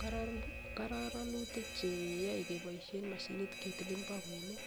Kororo koronitik cheyoe keboishen moshinit ketilen bokoinik